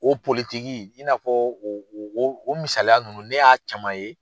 O politigi , i n'a fɔ o misaya nunnu ne y'a caman ye